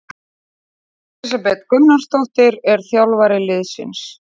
Elísabet Gunnarsdóttir er þjálfari liðsins.